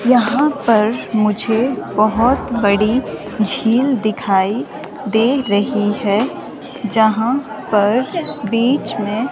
यहाँ पर मुझे बहुत बड़ी झील दिखाई दे रही है जहां पर बीच में--